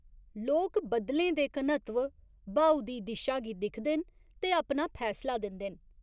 लोक बद्दलें दे घनत्व, ब्हाऊ दी दिशा गी दिखदे न ते अपना फैसला दिंदे न।